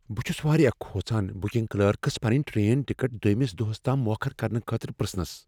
بہٕ چھس واریاہ کھوژان بکنگ کلرکس پنٕنۍ ٹرین ٹکٹ دویمِس دوہس تام موخر کرنہٕ خٲطرٕ پِرژھنس۔